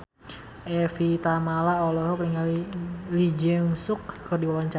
Evie Tamala olohok ningali Lee Jeong Suk keur diwawancara